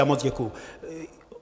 Já moc děkuji.